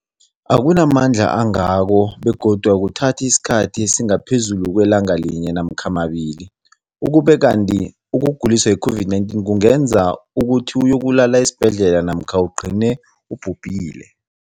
akuna mandla angako begodu akuthathi isikhathi esingaphezulu kwelanga linye namkha mabili, ukube kanti ukuguliswa yi-COVID-19 kungenza ukuthi uyokulala esibhedlela namkha ugcine ubhubhile.